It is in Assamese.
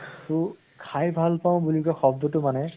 তো খাই ভাল বুলি যে শব্দ্টো মানে